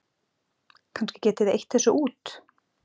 Kannski getið þið eytt þessu út?